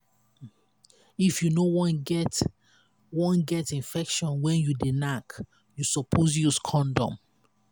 if you no wan get wan get infection when you dey knack you suppose use condom.